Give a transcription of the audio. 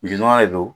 Jisuma de don